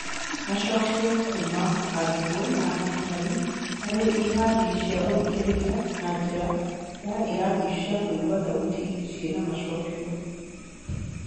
Macokio kuuma arutwo na arutani harĩ irathi cia gũthikĩrĩria na njĩra ya irathi cia kũigua thauti ciĩna-macokĩo.